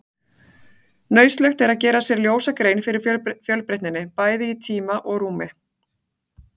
Nauðsynlegt er að gera sér ljósa grein fyrir fjölbreytninni, bæði í tíma og rúmi.